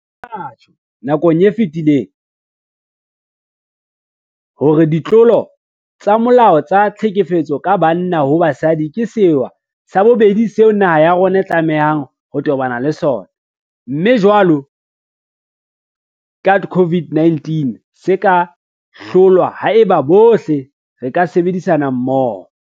Re ile ra tjho nakong e fetileng hore ditlolo tsa molao tsa tlhekefetso ka banna ho basadi ke sewa sa bobedi seo naha ya rona e tlamehang ho tobana le sona, mme jwalo ka COVID-19 se ka hlolwa haeba bohle re ka sebedisana mmoho.